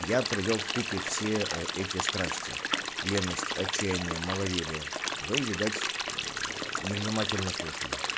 я привёл в купе все эти страсти леность отчаяния маловерие вы видать невнимательно слушали